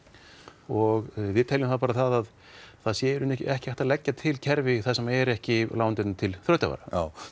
og við teljum að það sé í raun ekki hægt að leggja til kerfi þar sem er ekki lánveitandi til þrautavara